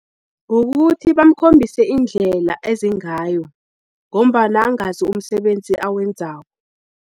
Kukuthi bamkhombisi indlela ezengayo, ngombana angazi umsebenzi awenzako.